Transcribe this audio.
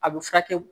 A bɛ furakɛ